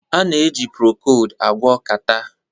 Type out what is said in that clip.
A na-eji Procold agwọ catarrh